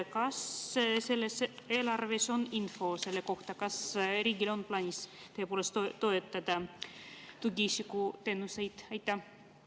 Kas selles eelarves on info selle kohta, kas riigil on tõepoolest plaanis tugiisikuteenuseid toetada?